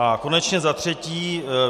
A konečně za třetí.